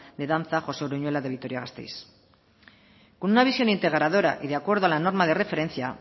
de danza josé uruñuela de vitoria gasteiz con una visión integradora y de acuerdo a la norma de referencia